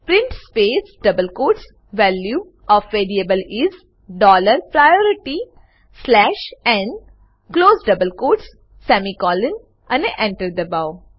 print space double quote value of variable is dollar priority slash n close double quote semicolon અને enter દબાઓ